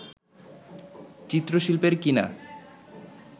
চিত্রশিল্পের কি না